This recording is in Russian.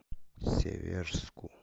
северску